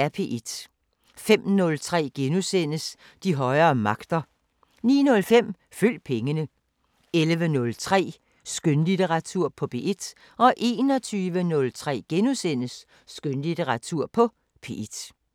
05:03: De højere magter * 09:05: Følg pengene 11:03: Skønlitteratur på P1 21:03: Skønlitteratur på P1 *